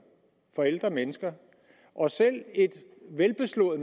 for ældre mennesker og selv et velbeslået